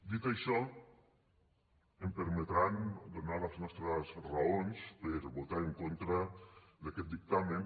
dit això em permetran donar les nostres raons per a votar en contra d’aquest dictamen